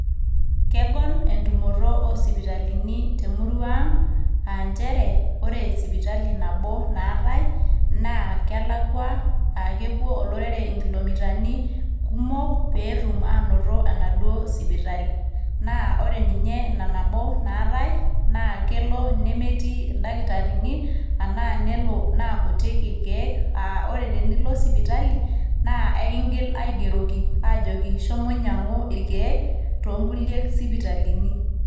Kegol entumoto oosipitali temurua ang, aa nchere ore sipitali nabo naatae naa kelakwa aa kepuo olorere inkilomitani kumok peetum aanoto enaduoo sipitali . naa ore ninye ina nabo naatae naa kelo nemetii ildakitarini anaa nelo naa kutik irkieek aa ore tenilo sipitali naa ekingil aigeroki ajoki shomo inyangu irkieek too kuliek sipitalini